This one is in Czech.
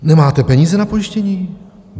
Nemáte peníze na pojištění?